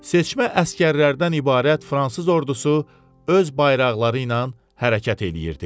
Seçmə əsgərlərdən ibarət fransız ordusu öz bayraqları ilə hərəkət eləyirdi.